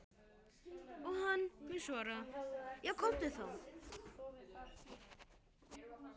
Og hann mun svara:- Já komdu þá.